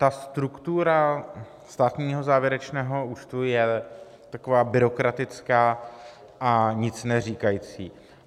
Ta struktura státního závěrečného účtu je taková byrokratická a nic neříkající.